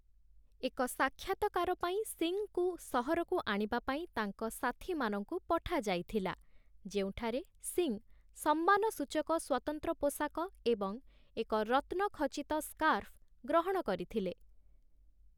ଏକ ସାକ୍ଷାତକାର ପାଇଁ ସିଂଙ୍କୁ ସହରକୁ ଆଣିବା ପାଇଁ ତାଙ୍କ ସାଥୀମାନଙ୍କୁ ପଠାଯାଇଥିଲା । ଯେଉଁଠାରେ ସିଂ 'ସମ୍ମାନସୂଚକ ସ୍ୱତନ୍ତ୍ର ପୋଷାକ' ଏବଂ ଏକ 'ରତ୍ନଖଚିତ ସ୍କାର୍ଫ' ଗ୍ରହଣ କରିଥିଲେ ।